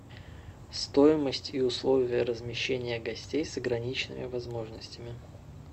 стоимость и условия размещения гостей с ограниченными возможностями